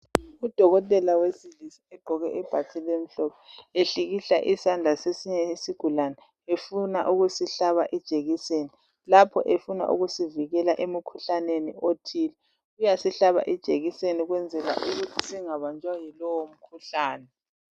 Udokotela wesilisa ugqoke ibhatshi elimhlophe ehlikihla izandla kwesinye isigulane efuna ukusihlaba ijekiseni lapho efuna ukusivikela emkhuhlaneni othile. Uyasihlaba ijekiseni ukuze singabanjwa yilowo mkhuhlane.